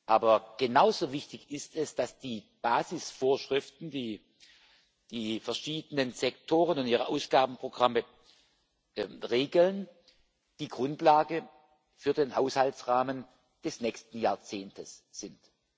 Aber genauso wichtig ist es, dass die Basisvorschriften, die die verschiedenen Sektoren und ihre Ausgabenprogramme regeln, die Grundlage für den Haushaltsrahmen des nächsten Jahrzehnts sind.